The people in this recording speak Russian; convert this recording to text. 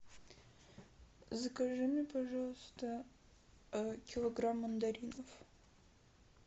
закажи мне пожалуйста килограмм мандаринов